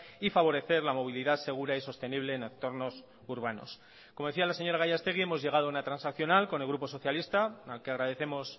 y favorecer la movilidad segura y sostenible en entornos urbanos como decía la señora gallastegui hemos llegado a una transaccional con el grupo socialista al que agradecemos